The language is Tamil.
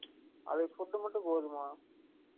அதுக்கு food மட்டும் போதுமா?